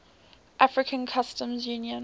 african customs union